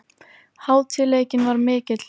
Hátíðleikinn var mikill.